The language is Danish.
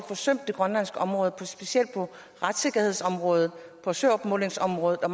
forsømt det grønlandske område specielt på retssikkerhedsområdet på søopmålingsområdet og